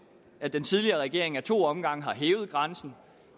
at den tidligere regering af to omgange hævede grænsen